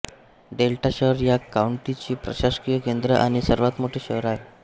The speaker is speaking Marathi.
डेल्टा शहर या काउंटीचे प्रशासकीय केन्द्र आणि सर्वात मोठे शहर आहे